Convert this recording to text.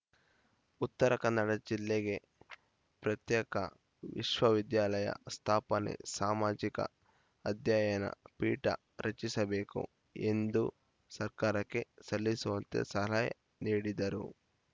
ಉತ್ತರ ಕನ್ನಡ ಜಿಲ್ಲೆಗೆ ಪ್ರತ್ಯೇಕ ವಿಶ್ವವಿದ್ಯಾಲಯ ಸ್ಥಾಪೆನೆ ಸಮಾಜಿಕ ಅಧ್ಯಯನ ಪೀಠ ರಚಿಸಬೇಕು ಎಂದು ಸರ್ಕಾರಕ್ಕೆ ಸಲ್ಲಿಸುವಂತೆ ಸರಯ್ ನೀಡಿದರು